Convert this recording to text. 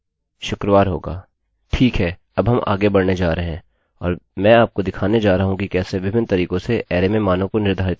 ठीक है अब हम आगे बढ़ने जा रहे हैं और मैं आपको दिखाने जा रहा हूँ कि कैसे विभिन्न तरीकों से अरैarrayमें मानों को निर्धारित करते हैं